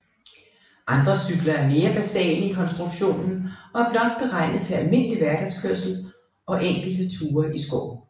Andre cykler er mere basale i konstruktionen og er blot beregnet til almindelig hverdagskørsel og enkelte ture i skoven